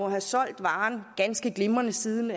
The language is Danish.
have solgt varen ganske glimrende siden